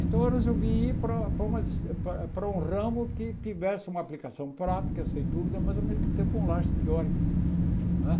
Então, eu resolvi ir para para uma para para um ramo que tivesse uma aplicação prática, sem dúvida, mas, ao mesmo tempo, um laje teórico. Não é